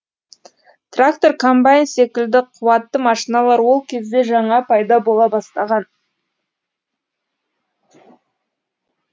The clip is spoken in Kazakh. трактор комбайн секілді қуатты машиналар ол кезде жаңа пайда бола бастаған